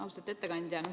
Austatud ettekandja!